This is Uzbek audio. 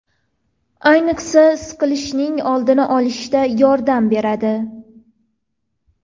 Ayniqsa, siqilishning oldini olishda yordam beradi.